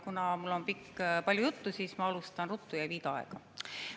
Kuna mul on palju juttu, siis ma alustan ruttu ja ei viida aega.